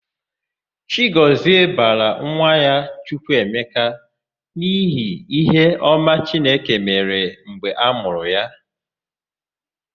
Chigọzie bara nwa ya Chukwuemeka n'ihi íhé ọma chineke mere ha mgbe amụrụ ya.